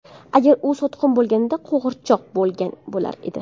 Agarda u sotqin bo‘lganida, qo‘g‘irchoq bo‘lgan bo‘lar edi.